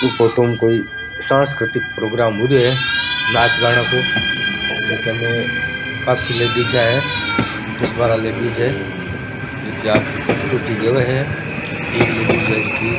इ फोटो में कोई सांस्कतिक प्रोग्राम हो रा है नाच गाना को जीका में काफी लेडीजा है दस बारह लेडीज है जो की आके प्रस्तुति देवे है एक लेडीज है जेकी --